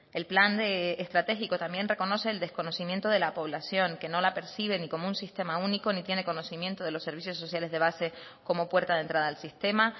el plan de estratégico también reconoce el desconocimiento de la población que no la percibe ni como un sistema único ni tiene conocimiento de los servicios sociales de base como puerta de entrada al sistema